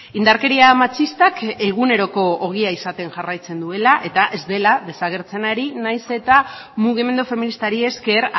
indarkeria matxistak eguneroko ogia izaten jarraitzen duela eta ez dela desagertzen ari nahiz eta mugimendu feministari esker